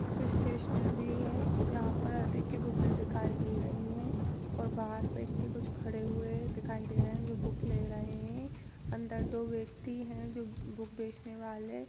यह कोई स्टैशनरी है यहाँ पर अधिक बुके के दिखाई दे रही हैं और बाहर व्यक्ति कुछ खड़े हुए दिखाई दे रहे हैं जो बुक ले रहे हैं अंदर दो व्यक्ति है जो बुक बेचने वाले --